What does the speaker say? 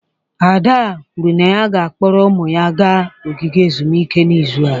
Ada kwuru na ya ga-akpọrọ ụmụ ya gaa ogige ezumike n'izu a.